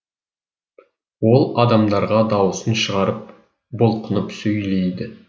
ол адамдарға дауысын шығарып бұлқынып сөйлейді